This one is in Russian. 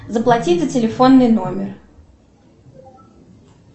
заплатить за телефонный номер